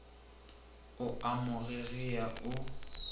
o a mo gegea o